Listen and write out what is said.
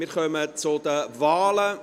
– Wir kommen zu den Wahlen.